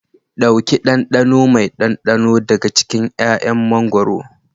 Ɗauki ɗanɗano mai ɗanɗano daga cikin 'ya'yan mango.